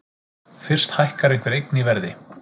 Fyrst hækkar einhver eign í verði.